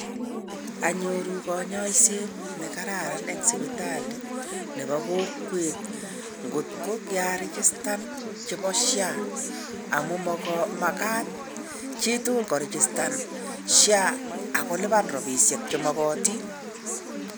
Anyoruu kanyaiset nekararan eng sipitali nepo kokwet ngotko kiaregistan chebo SHA. Amu magat chutugul koregistan SHA akolipan robishek chemogotin.